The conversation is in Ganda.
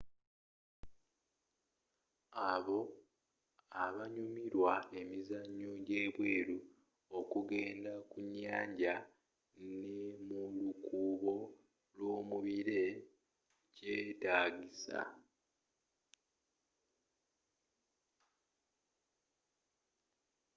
abo abanyumirwa emizanyo jje bweru ,okugendako ku nyanja ne mulukuubo lwomubire kyetaagisa